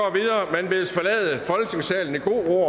man bedes forlade folketingssalen i god ro